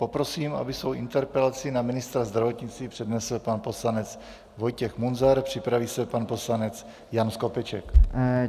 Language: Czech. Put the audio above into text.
Poprosím, aby svou interpelaci na ministra zdravotnictví přednesl pan poslanec Vojtěch Munzar, připraví se pan poslanec Jan Skopeček.